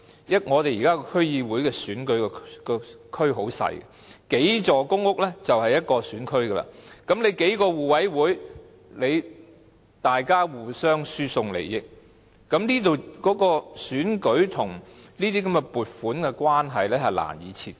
現時區議會選舉的選區很細小，數座公屋已是一個選區，數個互委會互相輸送利益，選舉跟這些撥款的關係難以切割。